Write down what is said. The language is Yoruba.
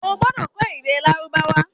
Ó gbọ́dọ̀ kọ́ èdè Lárúbáwá